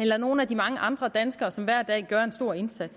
eller nogle af de mange andre danskere som hver dag gør en stor indsats